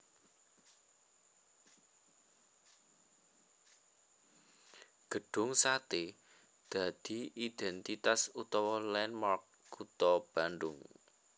Gedhung Satè dadi idèntitas utawa landmark kutha Bandung